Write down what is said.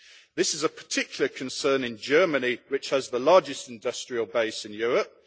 This is a particular concern in Germany, which has the largest industrial base in Europe.